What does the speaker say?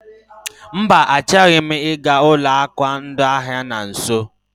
Mba, anaghị m aga ụlọ akụ ndị ahịa na nso.